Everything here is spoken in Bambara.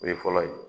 O ye fɔlɔ ye